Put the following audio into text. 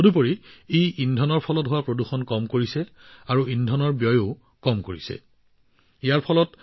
ইয়াৰ বাবে যত ইন্ধনৰ ফলত হোৱা প্ৰদূষণ ৰোধ হৈছে তাত ইন্ধনৰ খৰচো ৰাহি হয়